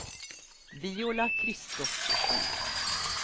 Viola Kristoffersson